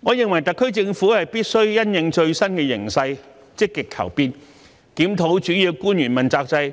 我認為，特區政府必須因應最新形勢，積極求變，檢討主要官員問責制，